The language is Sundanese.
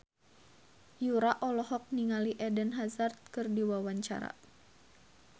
Yura olohok ningali Eden Hazard keur diwawancara